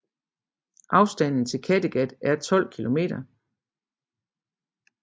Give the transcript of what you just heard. Afstanden til Kattegat er 12 km